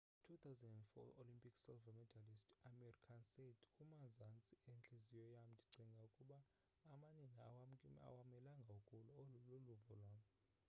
i 2004 olympic silver medallist amir khan said kumazantsi entliziyo yam ndicinga ukuba amanina awamelanga ukulwa olu luluvo lwam